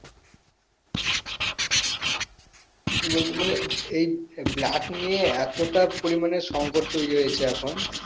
কি বলবো মানে এই blood নিয়ে এতোটা পরিমানে সংকট তৈরী হয়েছে এখন